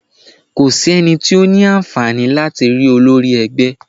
Kò sí ẹnì tí ó ní àǹfààní láti rí olórí ẹgbẹ́.